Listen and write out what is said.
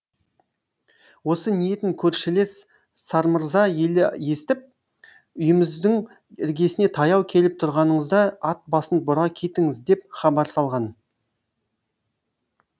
осы ниетін көршілес сармырза елі естіп үйіміздің іргесіне таяу келіп тұрғаныңызда ат басын бұра кетіңіз деп хабар салған